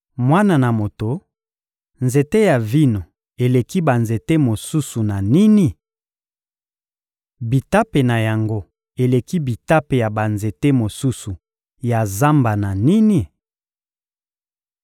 «Mwana na moto, nzete ya vino eleki banzete mosusu na nini? Bitape na yango eleki bitape ya banzete mosusu ya zamba na nini?